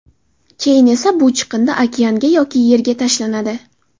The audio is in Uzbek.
Keyin esa bu chiqindi okeanga yoki yerga tashlanadi.